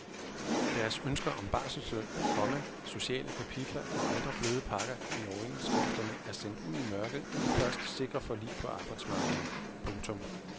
Deres ønsker om barselsløn, komma sociale kapitler og andre bløde pakker i overenskomsterne er sendt ud i mørket i det første sikre forlig på arbejdsmarkedet. punktum